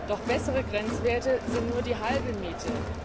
Doch bessere Grenzwerte sind nur die halbe Miete.